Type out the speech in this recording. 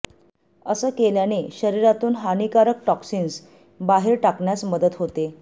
असं केल्याने शरीरातून हानिकारक टॉक्सिन्स बाहेर टाकण्यास मदत होते